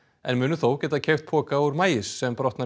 en munu þó geta keypt poka úr maís sem brotnar